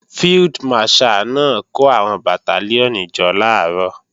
Field Marshal náà kó àwọn Bàtálíọ̀nì jọ làárọ̀